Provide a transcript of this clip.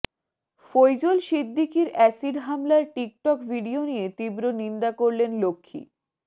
ফৈজল সিদ্দিকির অ্যাসিড হামলার TikTok video নিয়ে তীব্র নিন্দা করলেন লক্ষ্মী